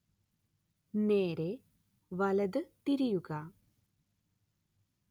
നേരേ വലത് തിരിയുക